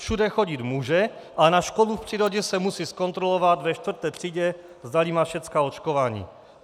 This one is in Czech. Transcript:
Všude chodit může, ale na školu v přírodě se musí zkontrolovat ve čtvrté třídě, zdali má všechna očkování.